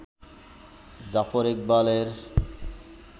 জাফর ইকবালের